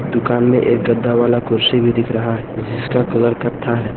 दुकान में एक गद्दा वाला कुर्सी भी दिख रहा है जिसका कलर कत्था है।